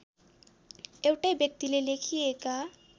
एउटै व्यक्तिले लेखिएका